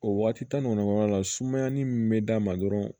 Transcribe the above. O waati tan ni kɔnɔnna sumayaani min bɛ d'a ma dɔrɔn